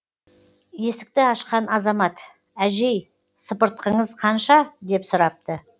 есікті ашқан азамат әжей сыпыртқыңыз қанша деп сұрапты